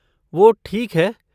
वो ठीक है।